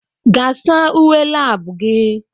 Gaa saa uwe lab gị!